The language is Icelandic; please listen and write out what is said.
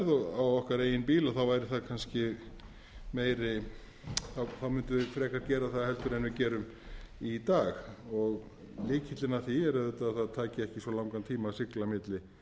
á okkar eigin bíl væri það kannski meiri mundum við frekar gera það heldur en við gerum í dag lykillinn að því er auðvitað að það taki ekki svo langan tíma að sigla milli